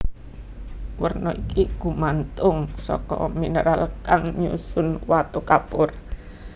Werna iki gumantung saka mineral kang nyusun watu kapur